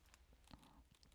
DR2